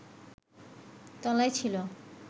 তলায় ছিল